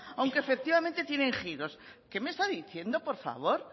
aunque efectivamente tienen giros qué me está diciendo por favor